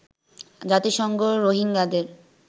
জাতিসংঘ রোহিঙ্গাদের